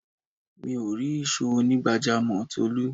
Mi ò rí ìsò onigbajamo Tolu